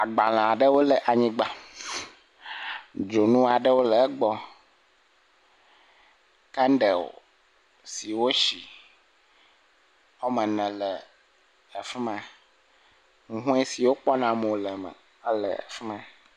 Agbalẽ aɖewo le anyigba. Dzonu aɖewo le egbɔ. Kɛnɖɛli si woshi woame ene le afi ma. Hũhɔe si wokpɔna mo le eme le afi ma.